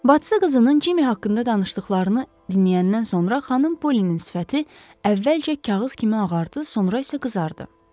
Bacı qızının Cimmi haqqında danışdıqlarını dinləyəndən sonra xanım Pollinin sifəti əvvəlcə kağız kimi ağardı, sonra isə qızardı.